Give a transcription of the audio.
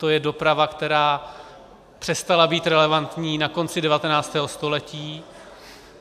To je doprava, která přestala být relevantní na konci 19. století.